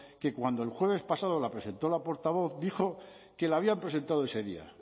que cuando el jueves pasado la presentó la portavoz dijo que le habían presentado ese día